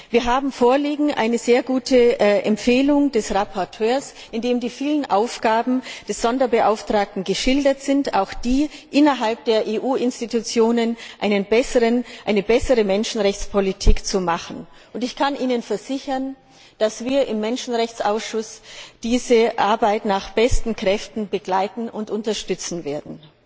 Wir haben eine sehr gute Empfehlung des Berichterstatters vorliegen, in der die vielen Aufgaben des Sonderbeauftragten geschildert sind, auch die, innerhalb der EU Institutionen eine bessere Menschenrechtspolitik zu machen. Ich kann Ihnen versichern, dass wir im Menschenrechtsausschuss diese Arbeit nach besten Kräften begleiten und unterstützen werden.